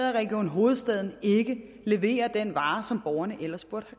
region hovedstaden ikke leverer den vare som borgerne ellers burde